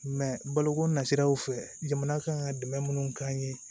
baloko nasiraw fɛ jamana kan ka dɛmɛ minnu k'an ye